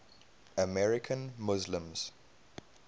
american muslims